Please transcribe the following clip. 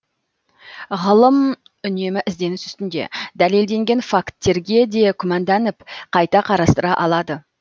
ғылым үнемі ізденіс үстінде дәлелденген факттерге де күмәнданып қайта қарастыра алады